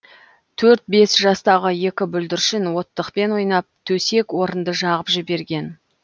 төрт бес жастағы екі бүлдіршін оттықпен ойнап төсек орынды жағып жіберген